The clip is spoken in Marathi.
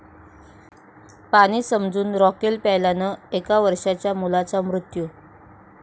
पाणी समजून रॉकेल प्यायल्यानं एका वर्षांच्या मुलाचा मृत्यू